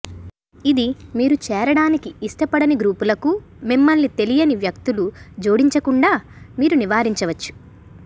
ఇది మీరు చేరడానికి ఇష్టపడని గ్రూపులకు మిమ్మల్ని తెలియని వ్యక్తులు జోడించకుండా మీరు నివారించవచ్చు